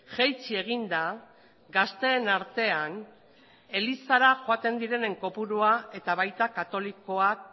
jaitsi egin da gazteen artean elizara joaten direnen kopurua eta baita katolikoak